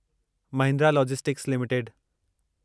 Mahindra logistics limited